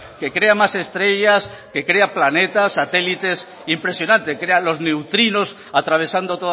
que crea más estrellas que crea planetas satélites impresionante crea los neutrinos atravesando